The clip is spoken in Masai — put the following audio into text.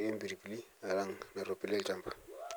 ee mpirbili alang naaropil elchamba